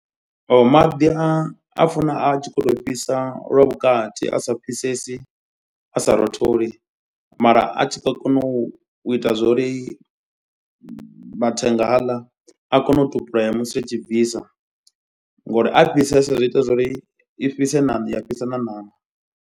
O maḓi a funa a tshi khou tou fhisa lwa vhukati a sa fhisesi a sa rotholi. Mara a tshi ḓo kona u ita zwori mathenga haaḽa a kone u tupulela musi ri tshii bvisa. Ngori a fhisesa zwi ita zwori i fhise ṋama ya fhisa na ṋama.